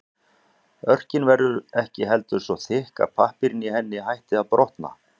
Örkin verður ekki heldur svo þykk að pappírinn í henni hætti að brotna.